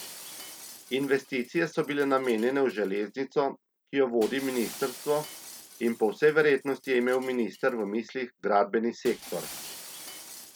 Investicije so bile namenjene v železnico, ki jo vodi ministrstvo, in po vsej verjetnosti je imel minister v mislih gradbeni sektor.